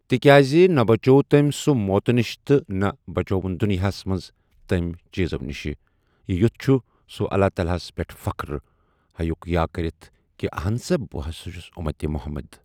تِکیاز نہ بچوو تٔمۍ سُہ موتہٕ نِش تہٕ نہ بچٲوُن دُنیا ہس منٛز تمہِ چیٖزو نِش یہِ یُتھ چھُ سُہ اللہ تعالیٰ ہس پٮ۪ٹھ فخر ہیٚکِ ہا کٔرِتھ کہِ اہن سا بہ سا چھُس اُمتہِ محمد۔